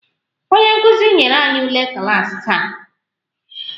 Onye nkuzi nyere anyị ule klaasị taa